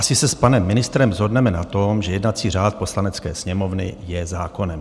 Asi se s panem ministrem shodneme na tom, že jednací řád Poslanecké sněmovny je zákonem.